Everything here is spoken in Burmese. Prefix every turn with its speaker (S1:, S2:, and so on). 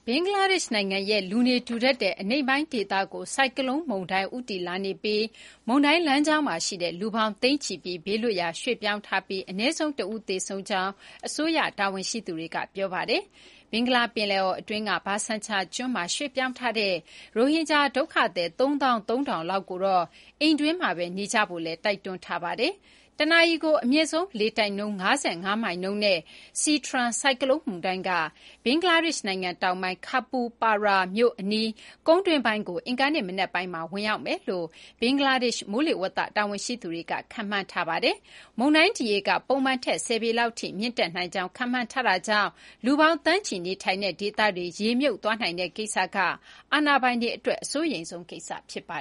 S1: ဘင်္ဂလားဒေရှ့် နိုင်ငံရဲ့ လူနေထူထပ်တဲ့ အနိမ့်ပိုင်း ဒေသကို ဆိုင်ကလုန်း မုန်တိုင်း ဦးတည်လာနေပြီး မုန်တိုင်း လမ်းကြောင်းမှာ ရှိတဲ့ လူပေါင်း သိန်းချီပြီး ဘေးလွတ်ရာ ရွှေ့ပြောင်းထားပြီး အနည်းဆုံး တဦး သေဆုံးကြောင်း အစိုးရ တာဝန်ရှိသူတွေက ပြောပါတယ်။ ဘင်္ဂလာ ပင်လယ်အော် အတွင်းက ဘာဆန်ချာ ကျွန်းမှာ ရွှေ့ပြောင်းထားတဲ့ ရိုဟင်ဂျာ ဒုက္ခသည် ၃၃,၀၀၀ လောက်ကိုတော့ အိမ်တွင်းမှာဘဲ နေထိုင်ကြဖို့ တိုက်တွန်းထားပါတယ်။ တနာရီကို အမြင့်ဆုံး လေတိုက်နှုန်း ၅၅ မိုင်နှုန်းနဲ့ Sitrang ဆိုင်ကလုန်း မုန်တိုင်းက ဘင်္ဂလားဒေရှ့် နိုင်ငံ တောင်ပိုင်း Khepupara မြို့ အနီး ကုန်းတွင်းပိုင်းကို အင်္ဂါနေ့ မနက်ပိုင်းမှာ ဝင်ရောက်မယ်လို့ ဘင်္ဂလားဒေရှ့် မိုးလေဝသ တာဝန်ရှိသူတွေက ခန့်မှန်းထားပါတယ်။ မုန်တိုင်း ဒီရေက ပုံမှန်ထက် ၁၀ ပေလောက်ထိ မြင့်တက်နိုင်ကြောင်း ခန့်မှန်းထားတာကြောင့် လူပေါင်း သန်းချီ နေထိုင်တဲ့ ဒေသတွေ ရေမြုပ်သွားနိုင်တဲ့ ကိစ္စက အာဏာပိုင်တွေ အတွက် အစိုးရိမ်ဆုံး ကိစ္စ ဖြစ်ပါ